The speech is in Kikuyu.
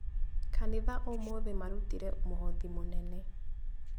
Kanitha ũmũthĩ marutire mũhothi mũnene